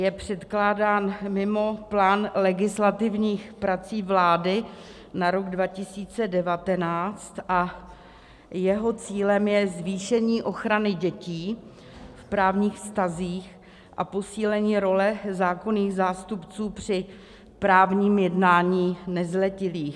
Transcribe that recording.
Je předkládán mimo plán legislativních prací vlády na rok 2019 a jeho cílem je zvýšení ochrany dětí v právních vztazích a posílení role zákonných zástupců při právním jednání nezletilých.